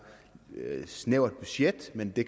snævert budget men det